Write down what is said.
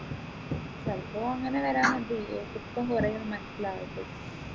ചിലപ്പോ അങ്ങനെ വരാനാവും അപ്പൊ കുറെ മനസ്സിലാവട്ട്